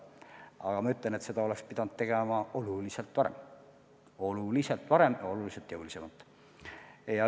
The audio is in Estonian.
Aga ma ütlen, et seda oleks pidanud tegema oluliselt varem – oluliselt varem ja oluliselt jõulisemalt.